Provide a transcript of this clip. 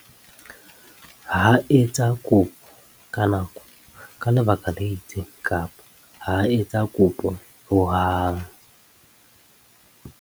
Ha a etsa kopo ka nako ka lebaka le itseng kapa ha a etsa kopo ho hang.